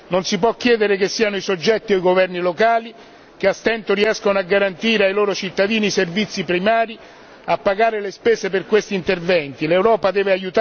In questo senso non si può chiedere che siano i soggetti o i governi locali, che a stento riescono a garantire ai loro cittadini servizi primari, a pagare le spese per questi interventi.